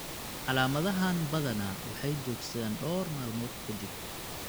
Calaamadahaan badanaa waxay joogsadaan dhowr maalmood ka dib.